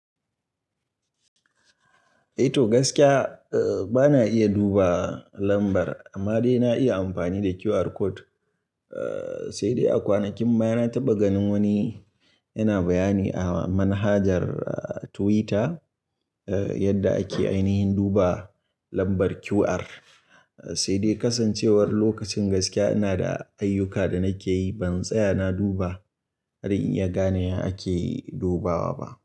Eh to gaskiya, bana iya duba lambar amma dai na iya amfani da QR code. Eh, sai dai a kwanakin baya na taɓa ganin wani yana bayani a manhajar Twitter, eh yadda ake ainihin duba lambar QR. Sai dai kasancewar lokacin gaskiya ina da ayyuka da nake yi, ban tsaya na duba har in iya gane ya ake dubawa ba.